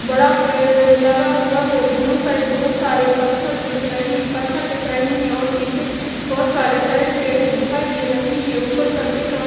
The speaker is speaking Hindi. बड़ा पेड़ लगा हुआ है दोनों साइड बहुत सारे पत्थर दिख रहे हैं पत्थर दिख रहे हैं और पीछे बहुत सारे हरे पेड़ दिखाई दे रहे हैं ऊपर सफेद और--